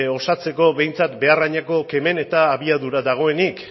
osatzeko behintzat behar adineko kemen eta abiadura dagoenik